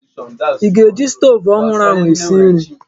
I ga-eji stoovu ọhụrụ ahụ esi nri?